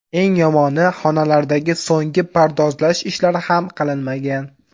Eng yomoni, xonalardagi so‘nggi pardozlash ishlari ham qilinmagan.